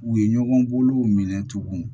U ye ɲɔgɔn bolow minɛ tuguni